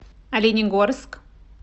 оленегорск